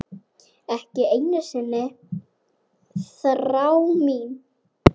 Ekki einu sinni þrá mín.